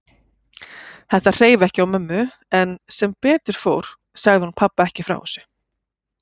Þetta hreif ekki á mömmu en sem betur fór sagði hún pabba ekki frá þessu.